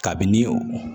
Kabini